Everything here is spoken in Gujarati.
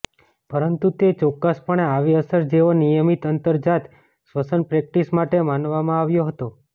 પરંતુ તે ચોક્કસપણે આવી અસર જેઓ નિયમિત અંતર્જાત શ્વસન પ્રેક્ટિસ માટે મનાવવામાં આવ્યો હતો